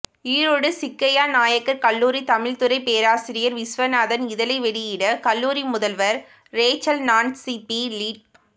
ஈரோடு சிக்கய்ய நாயக்கர் கல்லுாரி தமிழ் துறை பேராசிரியர் விஸ்வநாதன் இதழை வெளியிட கல்லுாரி முதல்வர் ரேச்சல்நான்சிபிலிப்